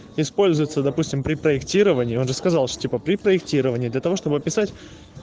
используется допустим при проектировании он рассказал что типа при проектировании для того чтобы описать